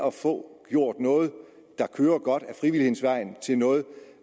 at få gjort noget der kører godt ad frivillighedens vej til noget